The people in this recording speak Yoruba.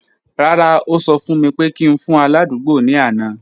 Rara, o sọ fun mi pe ki n fun aladugbo ni ana.